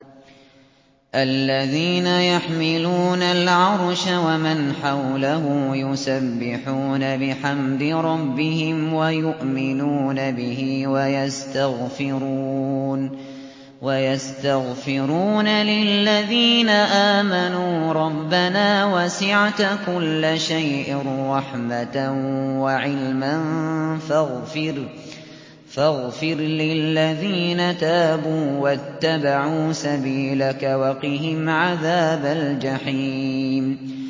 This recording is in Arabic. الَّذِينَ يَحْمِلُونَ الْعَرْشَ وَمَنْ حَوْلَهُ يُسَبِّحُونَ بِحَمْدِ رَبِّهِمْ وَيُؤْمِنُونَ بِهِ وَيَسْتَغْفِرُونَ لِلَّذِينَ آمَنُوا رَبَّنَا وَسِعْتَ كُلَّ شَيْءٍ رَّحْمَةً وَعِلْمًا فَاغْفِرْ لِلَّذِينَ تَابُوا وَاتَّبَعُوا سَبِيلَكَ وَقِهِمْ عَذَابَ الْجَحِيمِ